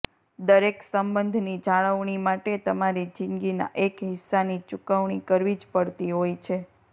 દરેક સંબંધની જાળવણી માટે તમારી જિંદગીના એક હિસ્સાની ચુકવણી કરવી જ પડતી હોય છે